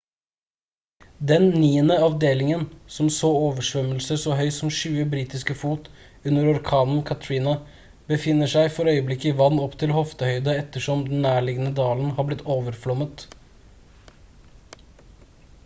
den niende avdelingen som så oversvømmelse så høy som 20 britiske fot under orkanen katrina befinner seg for øyeblikket i vann opp til hoftehøyde ettersom den nærliggende dalen har blitt overflommet